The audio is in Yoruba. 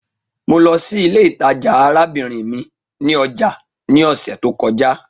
Mo lọ si ile itaja arabinrin mi ni ọja ni ọsẹ to kọja